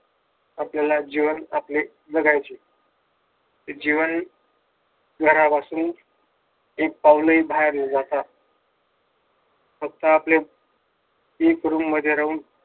आपल्याला जीवन आपले जगायचे जीवन घरापासून एक पाऊल हि बाहेर नव्हता फक्त आपले एक रूम मध्ये राहून